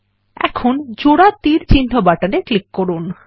এখন জোড়া তীর চিহ্ন বাটনে ক্লিক করুন